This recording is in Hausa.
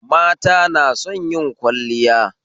Mata na son yin kwalliya